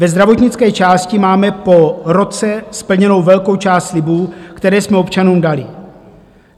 Ve zdravotnické části máme po roce splněnu velkou část slibů, které jsme občanům dali.